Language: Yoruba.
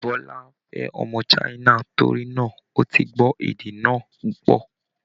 Bọ́lá fẹ́ ọmọ China, torí náa, ó ti gbọ́ èdè náa púpọ̀